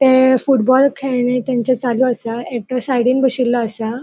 ते फुटबॉल खेळणे तेंचे चालू असा एकटो साइडीन बशिल्लो असा.